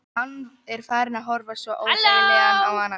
Hann er farinn að horfa svo óþægilega á hana.